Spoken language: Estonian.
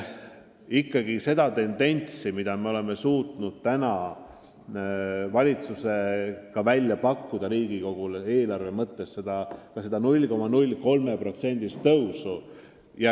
Praegu me oleme valitsusega Riigikogule välja pakkunud selle eelarve 0,03%-list kasvu.